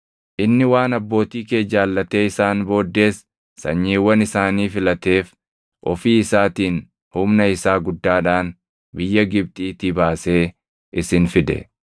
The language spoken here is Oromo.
Inni waan abbootii kee jaallatee isaan booddees sanyiiwwan isaanii filateef ofii isaatiin humna isaa guddaadhaan biyya Gibxiitii baasee isin fide;